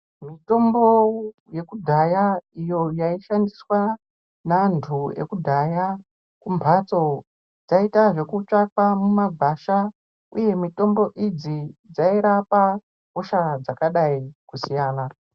Mutombo yekudhaya iyo yaishandiswa neantu ekudhaya kumbatso dzaiita zvekutsvakwa mumahwasha uye mitombo idzi dzairapa hosha dzakadai kusiyana.